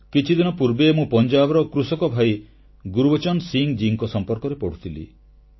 କିଛିଦିନ ପୂର୍ବେ ମୁଁ ପଞ୍ଜାବର କୃଷକ ଭାଇ ଗୁରୁବଚନ ସିଂହ ଜୀଙ୍କ ସମ୍ପର୍କରେ ପଢ଼ୁଥିଲି